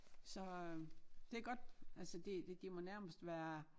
Så øh det godt altså de de de må nærmest være